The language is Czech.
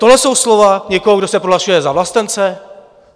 Tohle jsou slova někoho, kdo se považuje za vlastence?